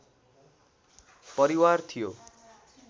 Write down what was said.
परिवार थियो